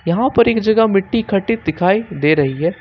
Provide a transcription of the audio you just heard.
यहां पर एक जगह मिट्टी इकट्ठी दिखाई दे रही है।